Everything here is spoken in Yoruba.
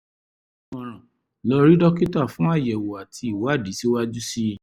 ìmọ̀ràn: lọ rí dókítà fún àyẹ̀wò àti ìwádìí síwájú sí i